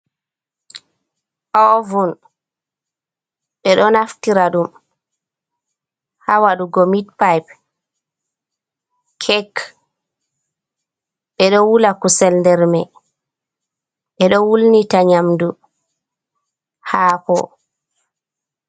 Ovun ɓe ɗo naftira ɗum ha wadugo mit pai, kek. Ɓe ɗo wula kusel ndermai, ɓe ɗo wulnita nyamdu hako.